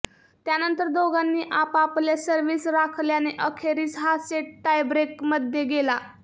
त्यानंतर दोघांनी आपापल्या सर्व्हिस राखल्याने अखेरीस हा सेट टायब्रेकमध्ये गेला